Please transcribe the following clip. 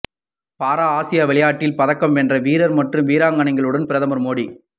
பாரா ஆசிய விளையாட்டில் பதக்கம் வென்ற வீரர் மற்றும் வீராங்கனைகளுடன் பிரதமர் மோடி